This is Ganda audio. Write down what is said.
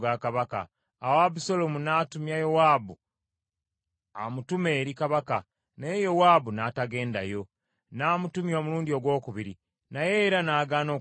Awo Abusaalomu n’atumya Yowaabu amutume eri kabaka, naye Yowaabu n’atagendayo. N’amutumya omulundi ogwokubiri, naye era n’agaana okugenda yo.